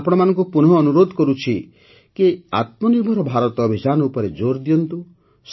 ମୁଁ ଆପଣମାନଙ୍କୁ ପୁନଃ ଅନୁରୋଧ କରୁଛି କି ଆତ୍ମନିର୍ଭର ଭାରତ ଅଭିଯାନ ଉପରେ ଜୋର୍ ଦିଅନ୍ତୁ